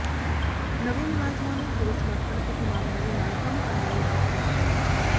ਨਵੇਂ ਮੁਲਾਜ਼ਮਾਂ ਨੂੰ ਪੂਰੇ ਸਮਰਪਣ ਤੇ ਇਮਾਨਦਾਰੀ ਨਾਲ ਕੰਮ ਕਰਨ ਲਈ ਆਖਿਆ